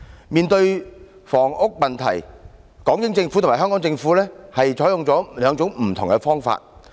面對房屋問題，港英政府和香港政府採取兩種不同的方法。